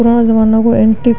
पुरानो ज़माने को एंटीक --